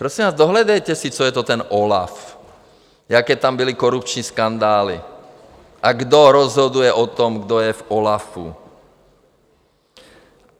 Prosím vás, dohledejte si, co je to ten OLAF, jaké tam byly korupční skandály a kdo rozhoduje o tom, kdo je v OLAFu.